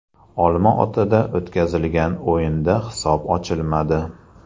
Olma-otada o‘tkazilgan o‘yinda hisob ochilmadi.